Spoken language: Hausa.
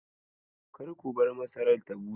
Kar ku bar masarar ta bushe.